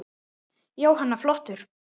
Jóhanna: Flottur?